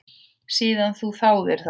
Síðan þú þáðir það?